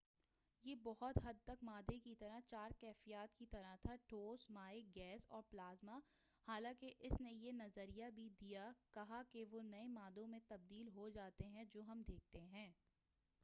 یہ بہت حد تک مادّے کی چار کیفیات کی طرح تھا ٹھوس مائع گیس اور پلازما حالانکہ اُس نے یہ نظریہ بھی دیا کہا کہ وہ نئے مادّوں میں تبدیل ہوجاتے ہیں جو ہم دیکھتے ہیں